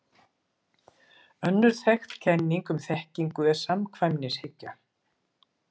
Önnur þekkt kenning um þekkingu er samkvæmnishyggja.